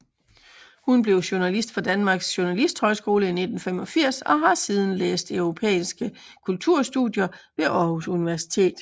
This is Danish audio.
Hun blev journalist fra Danmarks Journalisthøjskole i 1985 og har siden læst europæiske kulturstudier ved Aarhus Universitet